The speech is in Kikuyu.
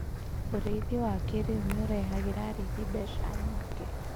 Ũrĩithi wa kĩrĩu nĩ ũrehagĩra arĩithi mbeca nyingĩ.